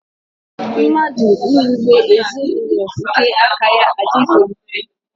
Mmadụ iwube ezinaụlọ nke aka ya adịghị mfe.